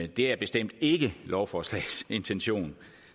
det er bestemt ikke lovforslagets intention